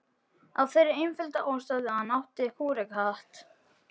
Af þeirri einföldu ástæðu að hann átti kúrekahatt.